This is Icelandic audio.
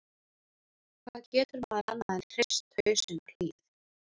Hvað getur maður annað en hrist hausinn og hlegið?